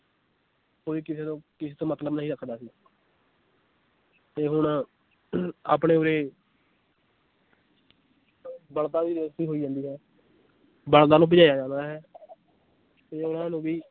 ਕੋਈ ਕਿਸੇ ਤੋਂ ਕਿਸੇ ਤੋਂ ਮਤਲਬ ਨਹੀਂ ਰੱਖਦਾ ਸੀ ਤੇ ਹੁਣ ਆਪਣੇ ਉਰੇ ਬਲਦਾਂ ਦੀ race ਵੀ ਬਲਦਾਂ ਨੂੰ ਭਜਾਇਆ ਜਾਂਦਾ ਹੈ ਤੇ ਉਹਨਾਂ ਨੂੰ ਵੀ